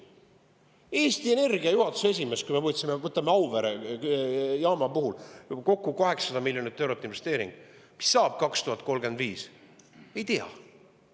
Eesti Energia juhatuse esimees, et kui me võtame Auvere jaama, siis selle puhul tehti kokku 800 miljoni eurone investeering, aga mis saab 2035. aastal, me ei tea.